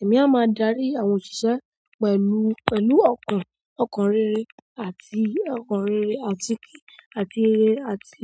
Èmi a máa darí àwọn òṣìṣẹ́ pẹ̀lú, pẹ̀lú ọkàn, ọkàn rere àti ọkàn rere àti, àti rere àti